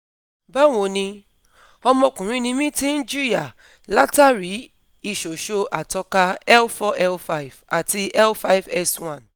Bawo ni, ọmọkùnrin ni mí tí ń jìyà látàrí iṣòṣo àtọka L4-L5 àti L5-S1